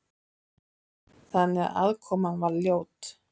Þannig að aðkoman var ljót.